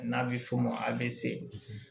N'a bɛ f'o ma avse